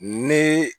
Ni